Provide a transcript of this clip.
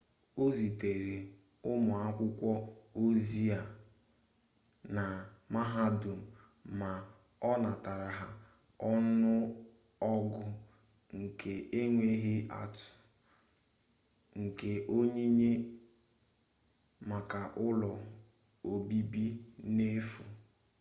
ọ zitere ụmụakwụkwọ ozi-e na mahadum ma ọ natara ọnụọgụ nke enweghị atụ nke onyinye maka ụlọ obibi n'efu